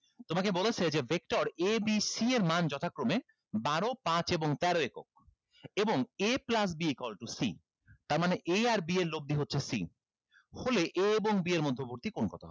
তোমাকে বলেছে যে vector a b c এর মান যথাক্রমে বারো পাঁচ এবং তেরো একক এবং a plus b equal to c তার মানে a আর b এর লব্দি হচ্ছে c হলে a এবং b এর মধ্যবর্তী কোণ কত হবে